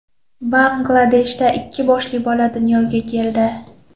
Bangladeshda ikki boshli bola dunyoga keldi.